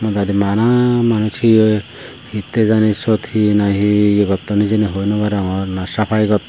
modadi bana manuj hiyo hittey jani syot he nahi ye gotton hijeni hoi naw arongor na safaai gotton.